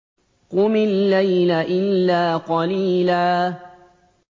قُمِ اللَّيْلَ إِلَّا قَلِيلًا